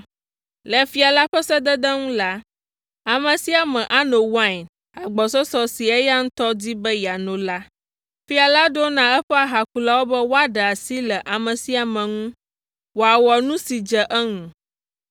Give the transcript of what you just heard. Le fia la ƒe sedede nu la, ame sia ame ano wain agbɔsɔsɔ si eya ŋutɔ di be yeano la. Fia la ɖo na eƒe ahakulawo be woaɖe asi le ame sia ame ŋu wòawɔ nu si dze eŋu.